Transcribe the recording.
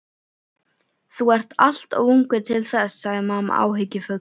Þú ert allt of ungur til þess sagði mamma áhyggjufull.